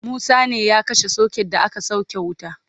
Musa ne ya kashe socket da aka sauke wuta